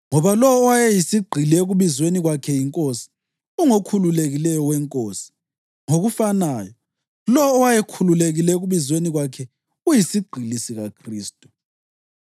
Ngoba lowo owayeyisigqili ekubizweni kwakhe yiNkosi, ungokhululekileyo weNkosi; ngokufanayo, lowo owayekhululekile ekubizweni kwakhe uyisigqili sikaKhristu.